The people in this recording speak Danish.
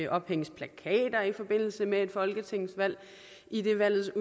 ophænges plakater i forbindelse med et folketingsvalg idet valgets